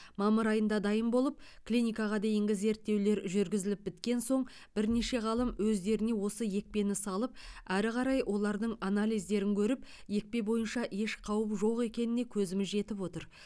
мамыр айында дайын болып клиникаға дейінгі зерттеулер жүргізіліп біткен соң бірнеше ғалым өздеріне осы екпені салып әрі қарай олардың анализдерін көріп екпе бойынша еш қауіп жоқ екеніне көзіміз жетіп отыр